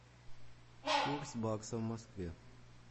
курс бакса в москве